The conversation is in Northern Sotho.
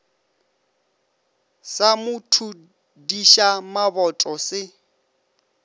sa mo thudiša maboto se